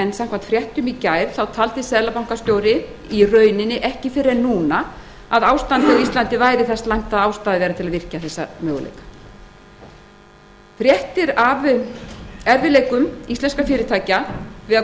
en samkvæmt fréttum í gær taldi seðlabankastjóri ekki fyrr en núna að ástandið á íslandi væri það slæmt að ástæða væri til að virkja þessa möguleika fréttir af erfiðleikum íslenskra fyrirtækja við að koma